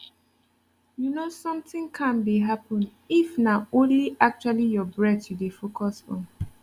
you know something calm dey happen if na only actually your breath you dey focus on